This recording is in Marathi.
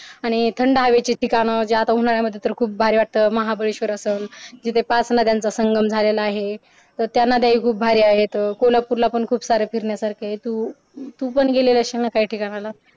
आणि थंड हवेचे ठिकाण जे उन्हाळ्यामध्ये तर खूप भारी वाटत महाबळेश्वर असाल जिथे पाच नद्यांचं संगम झालेलं आहे तर त्या नद्या हि खूप भारी आहेत कोलापूरला पण खुपसारे फिरण्यासारखे आहे तू तूपण गेली असेलीलनं काही ठिकाणाला